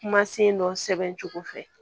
Kumasen dɔ sɛbɛn cogo fɛ